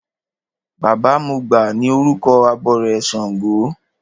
Baba mọgbà ni orúkọ abọrẹ̀ ṣàngó.